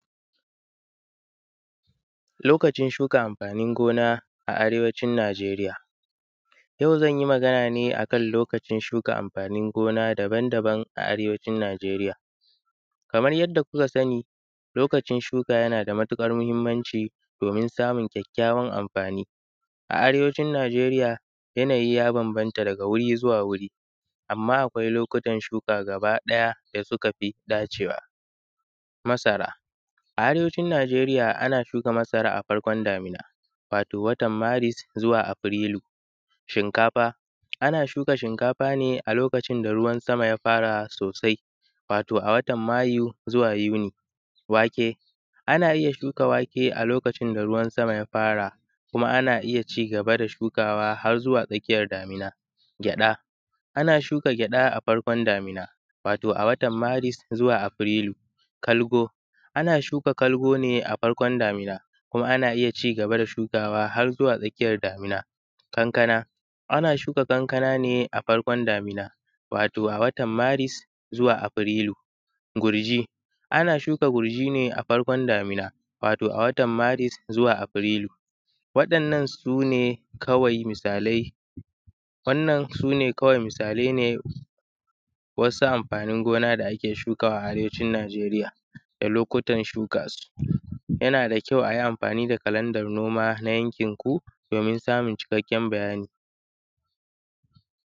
lokacin shuka amfanin gona a arewacin najeriya yau zan yi magana ne akan lokacin shuka amfanin gona daban daban a arewacin najeriya kamar yadda kuka sani lokacin shuka yana da matuƙar mahimmanci domin samun kyakkyawan amfani, a arewacin najeriya yanayi ya bambanta daga wuri zuwa wuri amma akwai lokutan shuka gaba ɗaya da suka fi dacewa, masara, a arewacin najeriya ana shuka masara a farkon damina wato watan maris zuwa afirilu, shinkafa, ana shuka shinkafa ne a lokacin da ruwan sama ya fara sosai wato a watan mayu zuwa yuli, wake, ana iya shuka wake a lokacin da ruwan sama ya fara kuma ana iya ci gaba da shukawa har zuwa tsakiyar damina, gyaɗa, ana shuka gyaɗa a farkon damina wato a watan maris zuwa afirilu, kalgo ana shuka kalgo ne a farkon daminakuma ana iya ci gaba da shukawa har zuwa tsakiyar damina, kankana, ana shuka kankana ne a farkon damina wato a watan maris zuwa afirilu, gurji, ana shuka gurji ne a farkon damina, wato a watan maris zuwa afirilu, waɗannan sune kawai misalai wannan sune kawai misalai ne wasu amfanin gona da ake shukawa a arewacin najeriya da lokutan shuka su yana da kyau ayi amfani da kalanda noma na yankin ku domin samun cikakken bayani